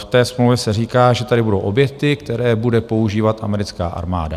V té smlouvě se říká, že tady budou objekty, které bude používat americká armáda.